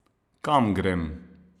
Kam grem?